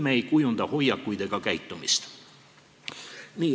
Nii ei kujunda me hoiakuid ega käitumist.